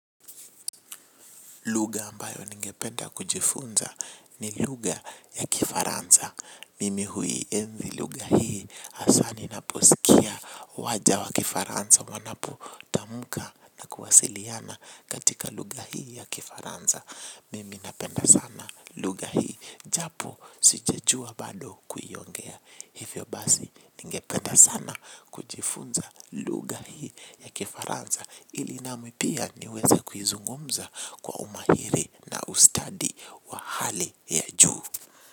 Luga ambayo ninge penda kujifunza ni luga ya kifaranza. Mimi hui enzi luga hii hasa ninaposikia waja wa kifaranza wanapo tamuka na kuwasiliana katika luga hii ya kifaranza. Mimi napenda sana luga hii japo sijejua bado kuyongea. Hivyo basi ningependa sana kujifunza luga hii ya kifaranza. Ili nami pia niweza kuhizungumza kwa umahiri na ustadi wa hali ya juu.